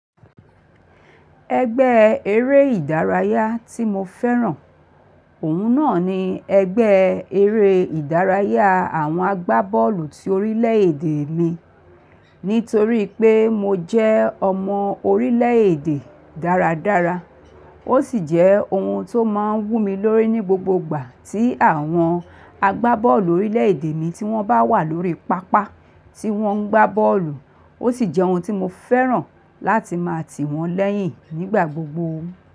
Ẹgbẹ́ eré ìdárayá tí mo fẹ́ràn, òun náà ni ẹgbẹ́ eré ìdárayá àwọn agbábọ́ọ̀lù ti orílẹ̀èdè mi. Nítorí pé mo jẹ́ ọmọ orílẹ̀èdè dáradára, ó sì jẹ́ ohun tó máa ń wù mí lórí ní gbogbo ìgbà tí àwọn agbábọ́ọ̀lù orílẹ̀èdè mi tí wọ́n bá wà lórí pápá tí wọ́n ń gbá bọ́ọ̀lù, ó sì jẹ́ ohun tí mo fẹ́ràn láti máa tì wọ́n lẹ́yìn nígbà gbogbo.